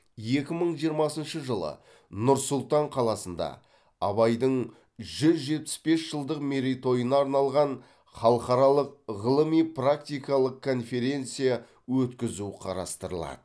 екі мың жиырмасыншы жылы нұр сұлтан қаласында абайдың жүз жетпіс бес жылдық мерейтойына арналған халықаралық ғылыми практикалық конференция өткізу қарастырылады